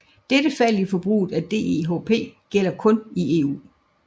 Dette fald i forbruget af DEHP gælder kun i EU